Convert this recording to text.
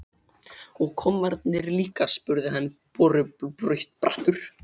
Og kommarnir líka? spurði hann borubrattur.